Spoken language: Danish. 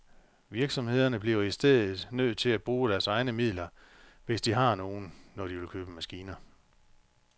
Virksomhederne bliver i stedet nødt til at bruge af deres egne midler, hvis de har nogen, når de vil købe maskiner.